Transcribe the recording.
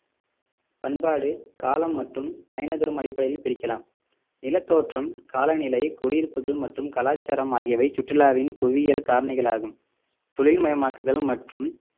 பண்பாடு காலம் மற்றும் பயண தூரம் அடிப்படையில் பிரிக்கலாம் நிலத்தோற்றம் காலநிலை குடியிருப்புகள் மற்றும் கலாச்சாரம் ஆகியவை சுற்றுலாவின் புவியியல் காரணிகளாகும் தொழில் மயமாக்குதல் மற்றும்